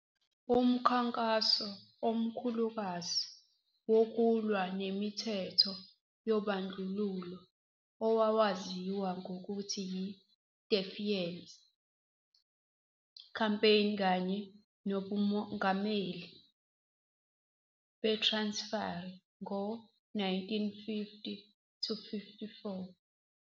Umkhankaso omkhulukazi wokulwa nemithetho yobandlululo owawaziwa ngokuthi yi-Defiance Campaign kanye nobuNgameli beTransifali ngo- 1950-54.